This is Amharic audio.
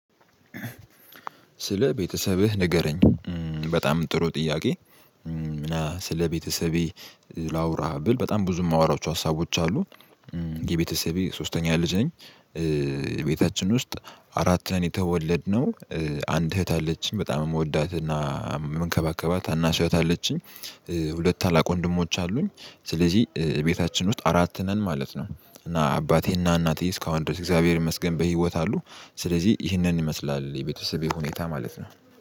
ስለ ቤተሰብህ ንገረኝ በጣም ጥሩ ጥያቄ? እና ስለቤተሰቤ ላውራ ብል በጣም ብዙ የማወራው ሀሳቦች አሉ የቤተሰቤ ሶስተኛ ልጅ ነኝ። ውስጥ አራት ነን የተወለድነው አንድ እህት አለችን በጣም የምወዳትና የምንከባከባት ታናሽ እህት አለችኝ። ሁለት ታላቅ ወንድሞች አሉኝ ስለዚህ እቤታችን ውስጥ አራት ነን ማለት ነው። እና አባቴና እናቴ እስካሁን ድረስ እግዚአብሔር ይመስገን በህይወት አሉ። ስለዚህ ይህንን ይመስላል የቤተሰቤ ሁኔታ ማለት ነው